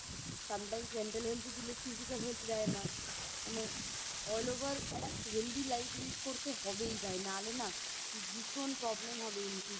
Sometimes mental health দিলে Physical health দেয় না মানে All over একটা Healthy life lead করতে হবেই ভাই নালে না ভীষণ Problem হবে In future